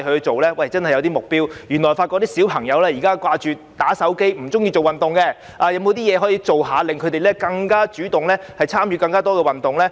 政府應訂立一些目標，在發現小朋友只記掛"打手機"，不愛做運動後，政府可做甚麼，令他們更主動地參與更多運動呢？